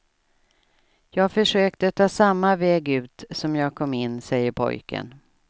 Jag försökte ta samma väg ut som jag kom in, säger pojken.